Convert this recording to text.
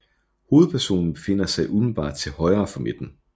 Hovedpersonen befinder sig umiddelbart til højre for midten